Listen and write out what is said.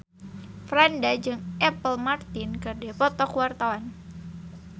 Franda jeung Apple Martin keur dipoto ku wartawan